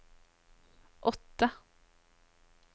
åtte